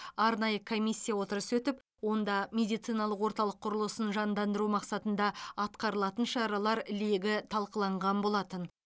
арнайы комиссия отырысы өтіп онда медициналық орталық құрылысын жандандыру мақсатында атқарылатын шаралар легі талқыланған болатын